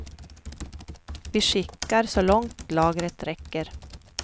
Vi skickar så långt lagret räcker.